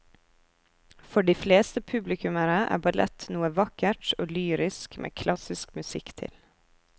For de fleste publikummere er ballett noe vakkert og lyrisk med klassisk musikk til.